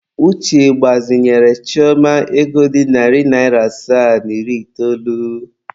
Uche gbazinyere Chioma ego dị narị naịra asaa na iri itoolu.